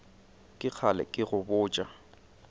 ke kgale ke go botša